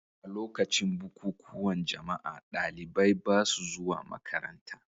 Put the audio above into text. A lokacin bukukuwan jama'a, ɗalibai ba sa zuwa makaranta.